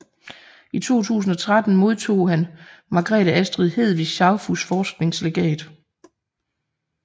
I 2013 modtog han Margrethe Astrid Hedvig Schaufuss Forskningslegat